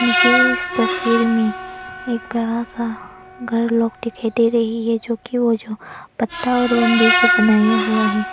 मुझे इस तस्वीर में एक बड़ा सा घर लोग दिखाई दे रही है जो कि वह जो पत्ता और बंबू से बनाया हुआ है।